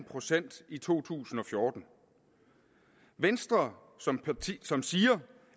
procent i to tusind og fjorten venstre som siger